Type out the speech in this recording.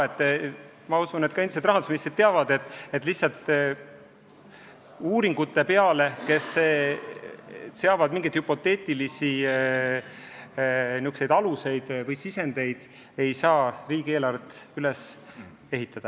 Küllap ka endised rahandusministrid teavad, et uuringute peale, mis lähtuvad mingitest hüpoteetilistest alustest või sisenditest, ei saa riigieelarvet üles ehitada.